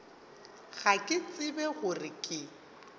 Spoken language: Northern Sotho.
ga ke tsebe gore ke